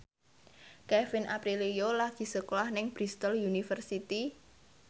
Kevin Aprilio lagi sekolah nang Bristol university